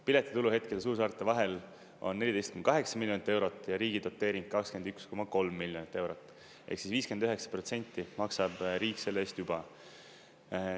Piletitulu hetkel suursaarte vahel on 14,8 miljonit eurot ja riigi doteering 21,3 miljonit eurot, ehk siis, 59 protsenti maksab riik selle eest juba.